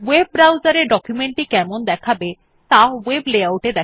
ওএব browser এ document টি কেমন দেখাবে ত়া ভেব Layout এ দেখা যায়